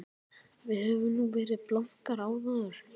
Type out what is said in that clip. Við höfum nú verið blankar áður.